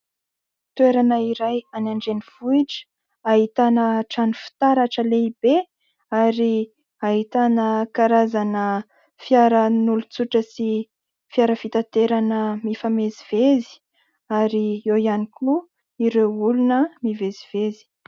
Toerana iray any andrenivohitra ahitana trano fitaratra lehibe, ary ahitana karazana fiaran'olontsotra sy fiara fitaterana mifamezivezy, ary eo ihany koa ireo olona mivezivezy.